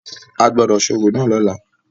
A gbọ́dọ̀ ṣe orò náà ní ọ̀la.